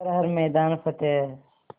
कर हर मैदान फ़तेह